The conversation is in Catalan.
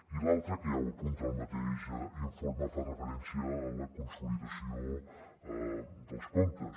i l’altra que ja ho apunta el mateix informe fa referència a la consolidació dels comptes